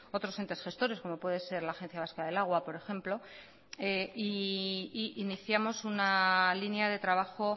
otros entes gestores como puede ser la agencia vasco del agua por ejemplo e iniciamos una línea de trabajo